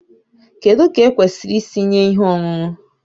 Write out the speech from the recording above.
Kedu ka ekwesịrị isi nye ihe ọṅụṅụ?